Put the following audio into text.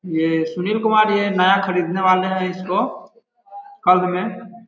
ये सुनील कुमार जी है नया खिरीदेने वाले है इसको कल मे--